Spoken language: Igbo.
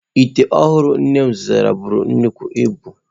Ite ọhụrụ nne m zụtara buru nnukwu ibu.